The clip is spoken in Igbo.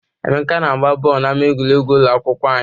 Emeka na-agba bọọlụ n'ámá egwuregwu ụlọ akwụkwọ anyị.